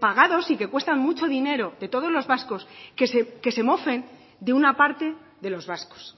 pagados y que cuestan mucho dinero de todos los vascos que se mofen de una parte de los vascos